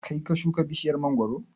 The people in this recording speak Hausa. Kaii ka shuka bishiyar mangoro?